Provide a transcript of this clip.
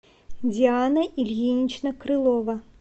диана ильинична крылова